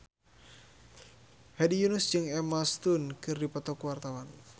Hedi Yunus jeung Emma Stone keur dipoto ku wartawan